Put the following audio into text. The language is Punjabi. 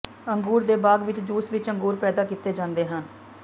ਅੰਗੂਰ ਦੇ ਬਾਗ ਵਿਚ ਜੂਸ ਵਿਚ ਅੰਗੂਰ ਪੈਦਾ ਕੀਤੇ ਜਾਂਦੇ ਹਨ